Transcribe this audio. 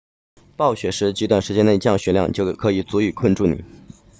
暴雪时极短时间内降雪量就可以足以困住你